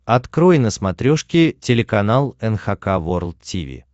открой на смотрешке телеканал эн эйч кей волд ти ви